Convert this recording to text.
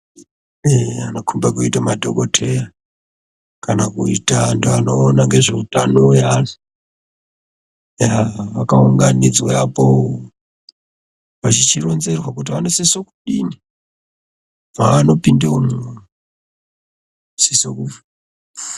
Eya vonokomba kuita madhokodheya kana kuita vantu vanoona nezveutano hwevantu vantu vakaunganidzea apo vachichironzerwa kuti vanosisa kudini.